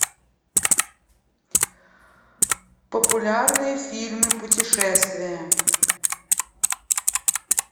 популярные фильмы путешествия